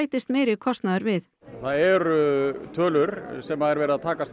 bætist meiri kostnaður við það eru tölur sem er verið að takast